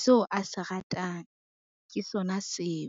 seo a se ratang ke sona seo.